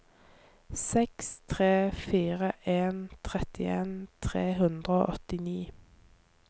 seks tre fire en trettien tre hundre og åttini